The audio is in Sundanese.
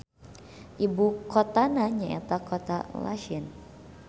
Ibu kotana nyaeta Kota Lachin.